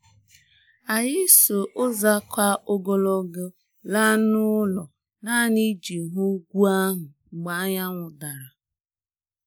Anyị si ụzọ ka ogologo laa n'ụlọ nanị iji hụ ugwu ahụ mgbe anyanwụ dara